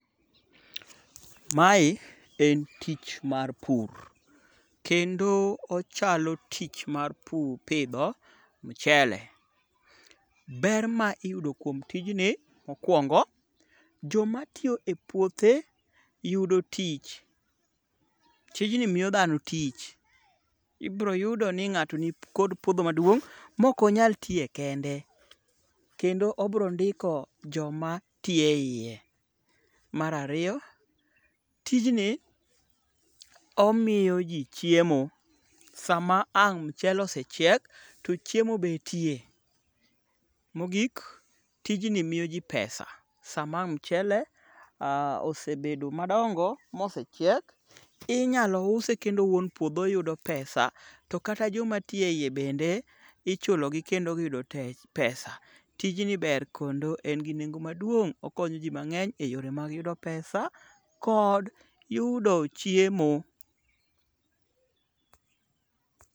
Mae en tich mar pur. Kendo ochalo tich mar pidho mchele. Ber ma iyudo kuom tijni mokwongo, jomatiyo e puothe yudo tich .Tijni miyo dhano tich. Ibiro yudo ni ng'ato nikod puodho maduong' mok onyal tiye kende, kendo obro ndiko joma tiyo e iye. Mar ariyo, tijni omiyo ji chiemo. Sama ang' mchele osechiek, to chiemo betie. Mogik, tijni miyo ji pesa. Sama ang' mchele osebedo madongo mosechiek, inyalo use kendo wuon puodho yudo pesa. To kata joma tiyo e iye bende, ichulogi kendo giyudo pesa. Tijni ber kendo en gi nengo maduong',okonyo ji mang'eny e yore mag yudo pesa kod yudo chiemo.